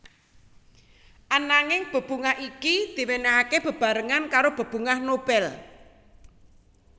Ananging bebungah iki diwènèhaké bebarengan karo bebungah Nobel